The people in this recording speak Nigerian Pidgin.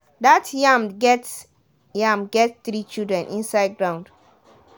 that yam get yam get three children inside ground.